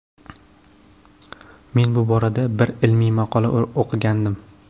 Men bu borada bir ilmiy maqola o‘qigandim.